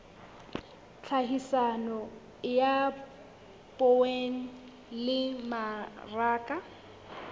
tlhahiso ya poone le mmaraka